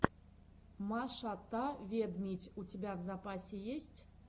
маша та ведмидь у тебя в запасе есть